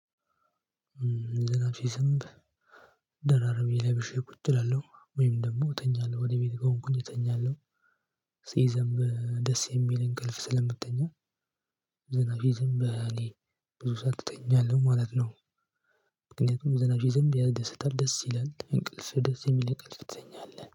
ዝናብ ሲዘንብ ደራርቤ ለብሼ ቁጭ እላለሁ ወይም ደግሞ እተኛለሁ ወደ ቤት ከሆንኩኝ እተኛለሁ ሲዘንብ ደስ የሚል እንቅልፍ ስለምትተኛ። ዝናብ ሲዘንብ እኔ ብዙ ሰዓት እተኛለሁ ማለት ነው። ምክንያቱም ዝናብ ሲዘንብ ያስደስታል ደስ ይላል እንቅልፍ ደስ የሚል እንቅልፍ ትተኛለህ